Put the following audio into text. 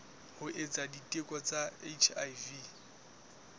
ho etsa diteko tsa hiv